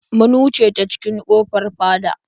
Mun wuce ta cikin ƙofar fada.